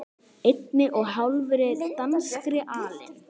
einni og hálfri danskri alin